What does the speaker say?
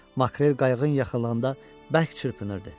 Makrel qayığın yaxınlığında bərk çırpınırdı.